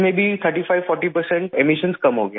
40 فیصد اخراج کم ہوگیا